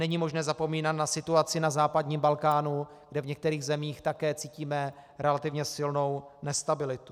Není možné zapomínat na situaci na západním Balkánu, kde v některých zemích také cítíme relativně silnou nestabilitu.